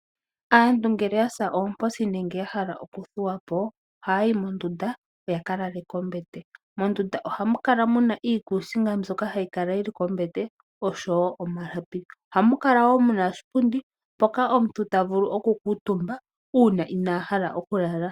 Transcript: Aantu ngele yavulwa nenge yasa oomposi yahala okuthuwapo, oha yayi mondunda yakalale po mombete. Mondunda ohamuka iikusiga ndjoka hayi kala kombete nosho woo omalapi. Ohamuka oshipundi hoka omuntu hakuutumba ko uuna inaaha okulala.